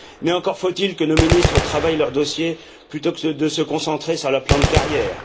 Mais encore faut il que nos ministres travaillent leurs dossiers, plutôt que de se concentrer sur leur plan de carrière.